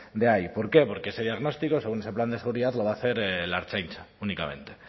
de ahí por qué porque ese diagnóstico según ese plan de seguridad lo va a hacer la ertzaintza únicamente